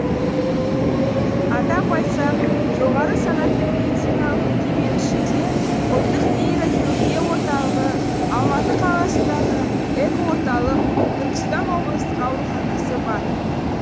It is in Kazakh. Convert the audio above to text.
атап айтсақ жоғары санатты медициналық мекеменің ішінде ұлттық нейрохирургия орталығы алматы қаласындағы эко орталық түркістан облыстық ауруханасы бар